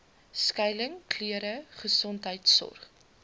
skuiling klere gesondheidsorg